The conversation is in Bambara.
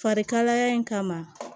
Farikalaya in kama